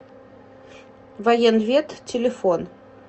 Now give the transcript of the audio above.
военвед телефон